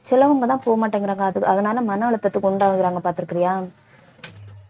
சிலவங்க தான் போக மாட்டேங்கிறாங்க அது அதனால மன அழுத்தத்துக்கு உண்டாகுறாங்க பார்த்திருக்கியா